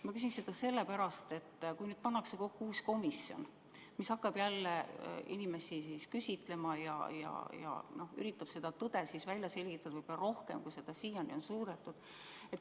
Ma küsin seda sellepärast, et vahest pannakse kokku uus komisjon, kes hakkab jälle inimesi küsitlema ja üritab tõde välja selgitada rohkem, kui seda siiani on suudetud.